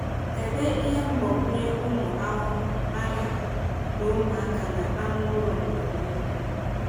Debe ihe mgbakwunye ụmụ ahụhụ anya na ụmụaka na anụ ụlọ mgbe niile.